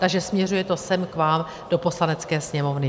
Takže směřuje to sem k vám, do Poslanecké sněmovny.